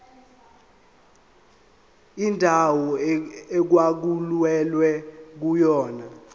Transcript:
indawo okwakulwelwa kuyona